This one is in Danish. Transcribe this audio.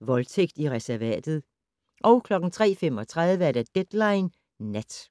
Voldtægt i reservatet * 03:35: Deadline Nat